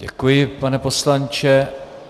Děkuji, pane poslanče.